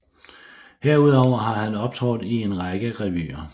Herudover har han optrådt i en række revyer